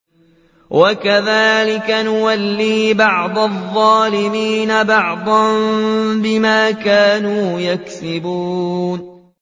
وَكَذَٰلِكَ نُوَلِّي بَعْضَ الظَّالِمِينَ بَعْضًا بِمَا كَانُوا يَكْسِبُونَ